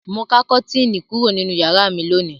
Mo ká kọ́tíínì méjì kúrò nínú ìyàrá mi lónìí.